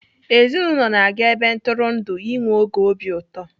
Ezinaụlọ na-aga ebe ntụrụndụ enwe oge obi ụtọ.